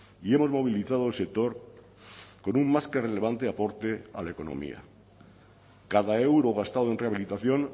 y hemos movilizado el sector con un más que relevante aporte a la economía cada euro gastado en rehabilitación